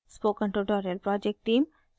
spoken tutorial project team